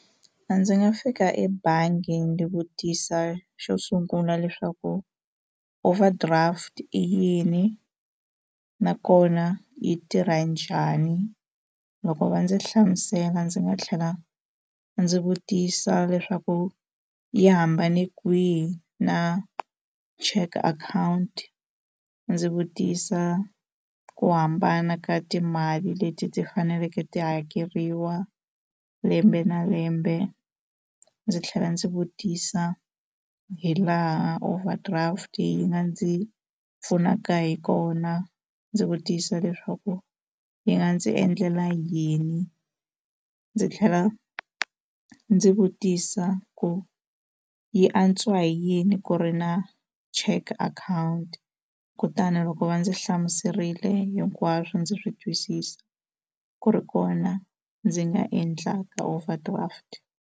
A ndzi nga fika ebangi ndzi vutisa xo sungula leswaku overdraft i yini nakona yi tirha njhani loko va ndzi hlamusela ndzi nga tlhela ndzi vutisa leswaku yi hambane kwihi na check account ndzi vutisa ku hambana ka timali leti ti faneleke ti hakeriwa lembe na lembe ndzi tlhela ndzi vutisa hi laha overdraft yi nga ndzi pfunaka hi kona ndzi vutisa leswaku yi nga ndzi endlela yini ndzi tlhela ndzi vutisa ku yi antswa hi yini ku ri na check akhawunti kutani loko va ndzi hlamuserile hi hinkwaswo ndzi swi twisisa ku ri kona ndzi nga endlaka overdraft.